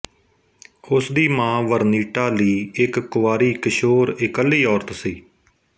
ਉਸਦੀ ਮਾਂ Vernita Lee ਇੱਕ ਕੁਵਾਰੀ ਕਿਸ਼ੋਰ ਇਕੱਲੀ ਔਰਤ ਸੀ